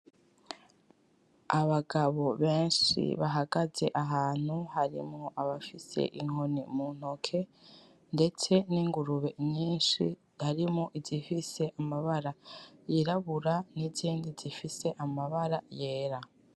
Abagabo benshi bahagaze ahantu, harimwo abafise inkoni muntoke, ndetse n'Ingurube nyinshi harimwo izifise amabara y'irabura n'izindi zifise amabara yera.